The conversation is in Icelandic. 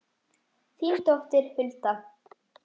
Þín dóttir, Hulda.